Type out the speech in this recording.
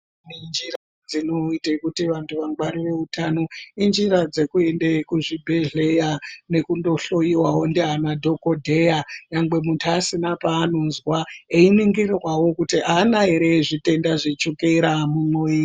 Njira dzinoite kuti vantu vangwarire utano injira dzekuende kuzvi bhedhlera nekundohloiwawo ndiana dhokodheya nyangwe muntu asina paanonzwa, einingirwawo kuti aana here zvitenda zveshukera mumuviri.